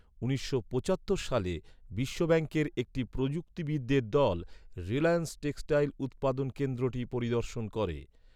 উনিশশো পঁচাত্তর সালে, বিশ্বব্যাঙ্কের একটি প্রযুক্তিবিদদের দল, 'রিলায়েন্স টেক্সটাইল' উৎপাদন কেন্দ্রটি পরিদর্শন করে।